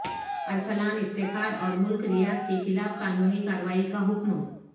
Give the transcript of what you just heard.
ارسلان افتخار اور ملک ریاض کے خلاف قانونی کارروائی کا حکم